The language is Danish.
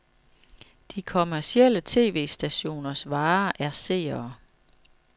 De kommercielle tv-stationers vare er seere.